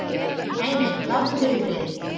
Nei, nei, látum þau í friði.